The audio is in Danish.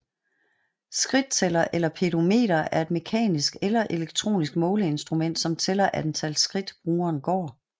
Skridttæller eller pedometer er et mekanisk eller elektronisk måleinstrument som tæller antal skridt brugeren går